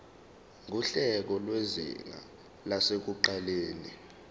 nguhlelo lwezinga lasekuqaleni